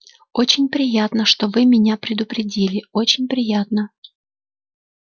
очень приятно что вы меня предупредили очень приятно